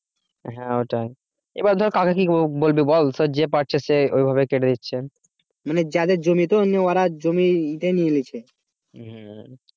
হ্যাঁ ওটাই। এবার ধর কাকে কি বলবি বল যে পাচ্ছে সে ওইভাবে কেটে নিচ্ছে মানে যাদের জমি তো ওরা জমি এটাই নিয়ে নিচ্ছে